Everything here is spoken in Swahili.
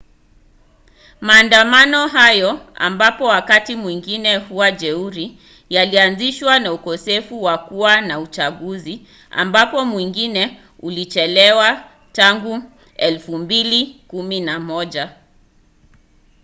maandamano hayo ambayo wakati mwingine huwa jeuri yalianzishwa na ukosefu wa kuwa na uchaguzi ambapo mwingine ulichelewa tangu 2011